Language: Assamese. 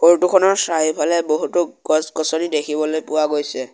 ফটো খনৰ চাৰিওফালে বহুতো গছ গছনি দেখিবলৈ পোৱা গৈছে।